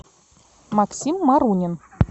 максим марунин